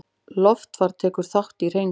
Loftfar tekur þátt í hreinsun